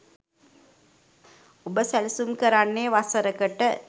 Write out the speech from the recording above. ඔබ සැළසුම් කරන්නේ වසරකට